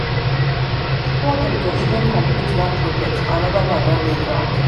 before dem go even komplete one even komplete one project anoda one don dey ground